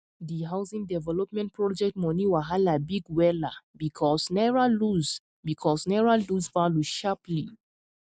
di housing development project money wahala big wella because naira lose because naira lose value sharply